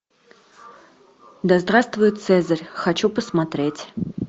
да здравствует цезарь хочу посмотреть